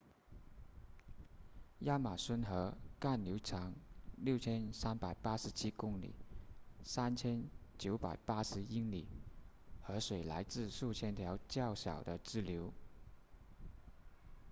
亚马孙河干流长6387公里3980英里河水来自数千条较小的支流